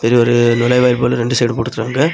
இது ஒரு நுழைவாயில் போல இரண்டு சைடு போட்டு வச்சிருக்காங்க.